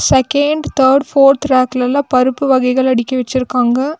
second third fourth ரேக்லெல்லா பருப்பு வகைகள் அடுக்கி வச்சிருக்காங்க